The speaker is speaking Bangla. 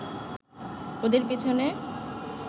ওদের পিছনে